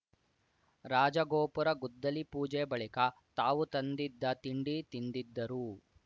ರಾಜಗೋಪುರ ಗುದ್ದಲಿ ಪೂಜೆ ಬಳಿಕ ತಾವು ತಂದಿದ್ದ ತಿಂಡಿ ತಿಂದಿದ್ದರು